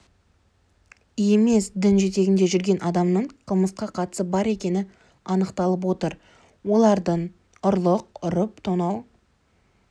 емес дін жетегінде жүрген адамның қылмысқа қатысы бар екені анықталып отыр олардың ұрлық ұрып тонау